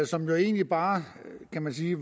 som jo egentlig bare kan man sige